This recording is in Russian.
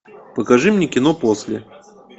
покажи мне кино после